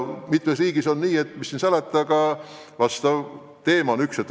Mitmes teises riigis on see probleem nr 1.